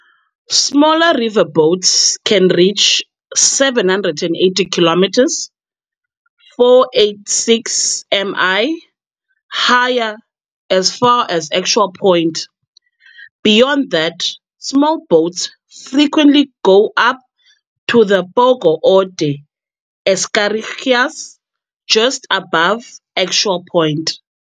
Smaller riverboats can reach 780km, 486 mi, higher as far as Actual Point. Beyond that, small boats frequently go up to the Pogo Ode Escherichia's, just above Actual Point.